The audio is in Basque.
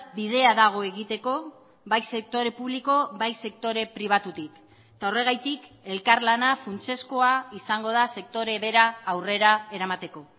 bidea dago egiteko bai sektore publiko bai sektore pribatutik eta horregatik elkarlana funtsezkoa izango da sektore bera aurrera eramateko